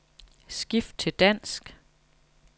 Skift til dansk.